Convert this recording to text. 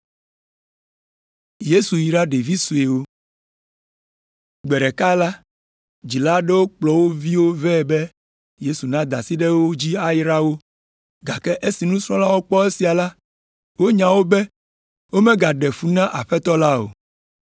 Gbe ɖeka la, dzila aɖewo kplɔ wo viwo vɛ be Yesu nada asi ɖe wo dzi ayra wo. Gake esi nusrɔ̃lawo kpɔ esia la, wonya wo be womegaɖe fu na Aƒetɔ la o.